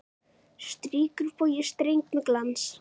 Strýkur bogi streng með glans.